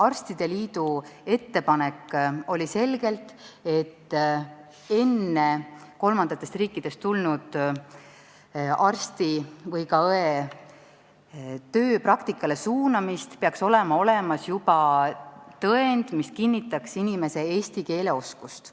Arstide liidu ettepanek ütles selgelt, et enne kolmandatest riikidest tulnud arsti või ka õe tööpraktikale suunamist peaks olema olemas tõend, mis kinnitaks inimese eesti keele oskust.